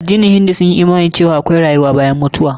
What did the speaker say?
Addinin hindu sun yi imani cewa akwai rayuwa bayan mutuwa.